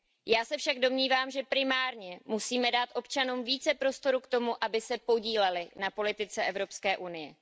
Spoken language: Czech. Já se však domnívám, že primárně musíme dát občanům více prostoru k tomu, aby se podíleli na politice Evropské unie.